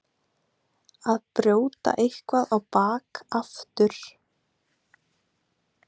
Að brjóta eitthvað á bak aftur